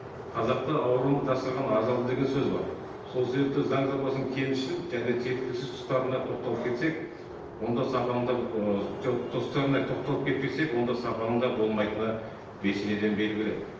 қазақта ауруын жасырған ажалды деген сөз бар сол себепті заң жобасының кемшіл және түйткілсіз тұстарына тоқталып кетсек онда сапаның да ы тұстарына тоқталып кетпесек онда сапаның да болмайтыны бесенеден белгілі